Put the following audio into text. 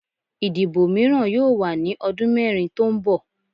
Idibo miiran yoo wa ni ọdun mẹrin to nbọ